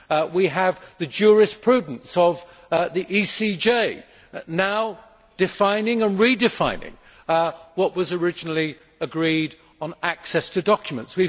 We have the jurisprudence of the ECJ, now defining and redefining what was originally agreed on access to documents.